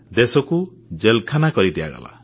ଦେଶକୁ ଜେଲଖାନା କରିଦିଆଗଲା